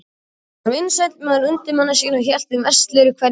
Hann var vinsæll meðal undirmanna sinna og hélt þeim veislur í hverjum mánuði.